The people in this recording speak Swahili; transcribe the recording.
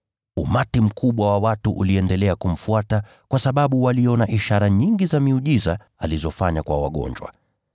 Umati mkubwa wa watu uliendelea kumfuata, kwa sababu waliona ishara nyingi za miujiza alizofanya kwa wagonjwa.